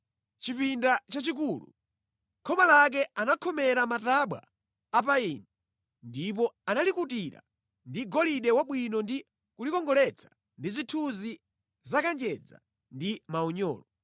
Chipinda chachikulu, khoma lake anakhomera matabwa a payini ndipo analikutira ndi golide wabwino ndi kulikongoletsa ndi zithunzi za kanjedza ndi maunyolo.